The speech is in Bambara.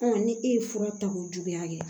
ni e ye fura ta ko juguya kɛ